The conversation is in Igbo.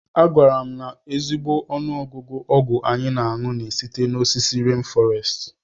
A gwara m na ezigbo ọnụọgụgụ ọgwụ anyị na-aṅu na-esite n'osisi rén fọrestị.